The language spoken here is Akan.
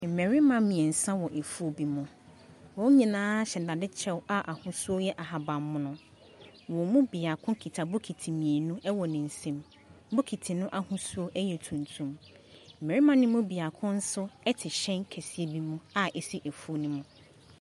Mmarima mmiɛnsa ɛwɔ afuo bi mu wɔn nyinaa hyɛ dade kyɛw a ahosuo yɛ ahahammono. Wɔn mu biako kita bokiti mmienu ɛwɔ ne nsam, bokiti no ahosuo ɛyɛ tuntum. Mmarima no mu biako nso ɛte hyɛn kɛseɛ bi mu a ɛsi afuo no mu.